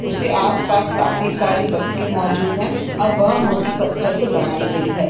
उसके आस-पास काफी सारी बतखें मौजूद है और वह मूर्ति पत्थर से बनाई गयी है।